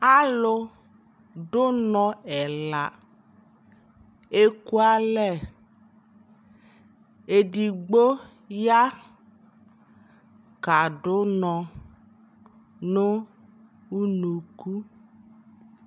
alʋ dʋ ʋnɔ ɛla ɛkʋ alɛ, ɛdigbɔ ya kadʋ ʋnɔ nʋ ʋnʋkʋ